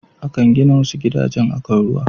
Akan gina wasu gidajen akan ruwa.